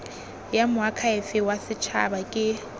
ya moakhaefe wa setshaba ke